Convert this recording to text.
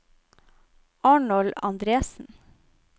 Arnold Andresen